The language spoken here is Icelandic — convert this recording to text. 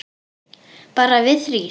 Bara við þrír.